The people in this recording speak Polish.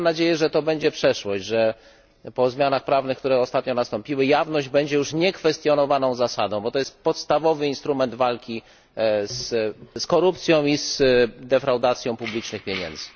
Mam nadzieję, że to będzie przeszłość, że po zmianach prawnych, które ostatnio nastąpiły, jawność będzie już niekwestionowaną zasadą, bo to jest podstawowy instrument walki z korupcją i defraudacją publicznych pieniędzy.